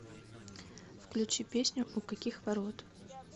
включи песню у каких ворот